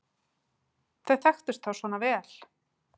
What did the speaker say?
Þau þekktust þá svona vel!